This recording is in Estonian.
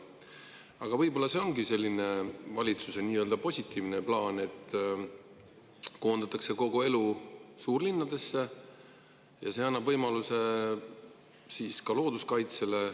Aga võib-olla see ongi valitsuse nii-öelda positiivne plaan, et koondatakse kogu elu suurlinnadesse – see annab võimaluse ka looduskaitsele.